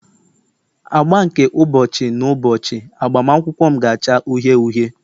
agba nke ụbọchị n'ụbọchị agbamakwụkwọ m ga-acha uhie uhie